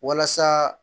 Walasa